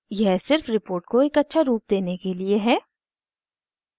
यह सिर्फ रिपोर्ट को एक अच्छा रुप देने के लिए है